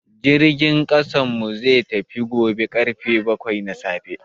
Jirgin kasan mu zai tafi karfe baƙwai na safe.